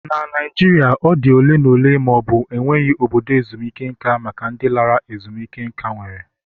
Na Naijiria, ọ dị ole na ole ma ọ bụ enweghị obodo ezumike nka maka ndị lara ezumike nká enwere.